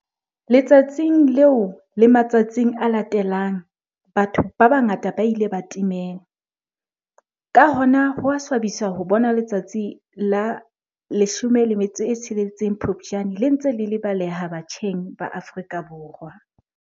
Letsatsing leo le matsatsing a latelang batho ba bangata ba ile ba timela. Ka hona ho a swabisa ho bona letsatsi la la 16 Phupjane le ntse le lebaleha batjheng ba Afrika Borwa.